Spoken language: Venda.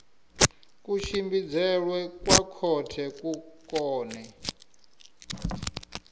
kutshimbidzelwe kwa khothe ku kone